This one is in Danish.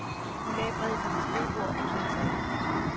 Hun lagde brevet på sit skrivebord og klædte sig af.